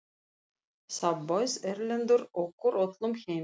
Þá bauð Erlendur okkur öllum heim til sín.